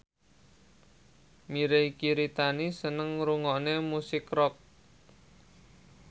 Mirei Kiritani seneng ngrungokne musik rock